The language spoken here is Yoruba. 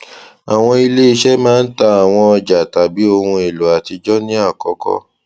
awọn ileiṣẹ maa ń ta awọn ọja tàbí oun elo atijọ ní àkọkọ